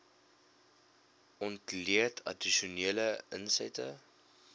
ontleed addisionele insette